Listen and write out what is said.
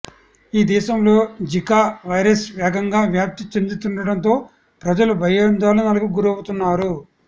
ఈ దేశంలో Zika virus వేగంగా వ్యాప్తి చెందుతుండడంతో ప్రజలు భయాందోళనలకు గురవుతున్నారు